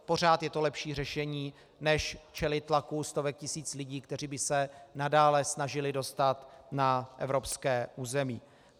Pořád je to lepší řešení než čelit tlaku stovek tisíc lidí, kteří by se nadále snažili dostat na evropské území.